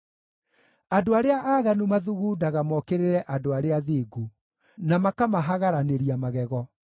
Andũ arĩa aaganu mathugundaga mokĩrĩre andũ arĩa athingu, na makamahagaranĩria magego;